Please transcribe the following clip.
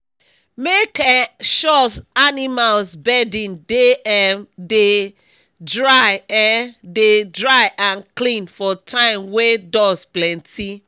make um sure animals bedding dey um dey dry um dey dry and clean for time wey dust plenty